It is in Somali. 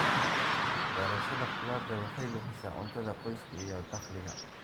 Beerashada khudaarta waxay bixisaa cuntada qoyska iyo dakhliga.